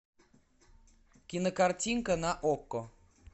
кино картинка на окко